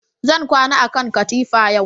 Zan kwana a kan katifa yau